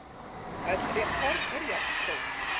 Öll rétt horn eru jafn stór.